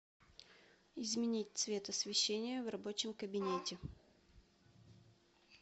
изменить цвет освещение в рабочем кабинете